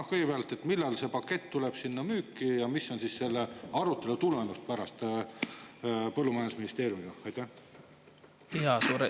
Aga kõigepealt: millal see pakett tuleb ja mis on pärast selle arutelu tulemus põllumajandusministeeriumiga?